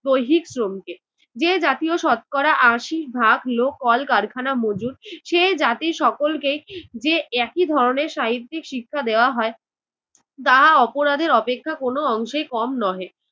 দৈহিক শ্রমকে। যে জাতীয় শতকরা আশি ভাগ লোক কল কারখানা মজুর, সে জাতির সকলকে যে একই ধরনের সাহিত্যিক শিক্ষা দেওয়া হয় তাহা অপরাধের অপেক্ষা কোনো অংশে কম নহে।